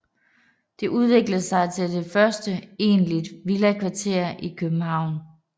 Det udviklede sig til det første egentlige villakvarter i København